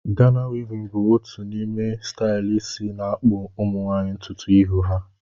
Gana wivin bụ otu n’ime stailu isi na-akpụ Ụmụnwaanyị ntutu ihu ha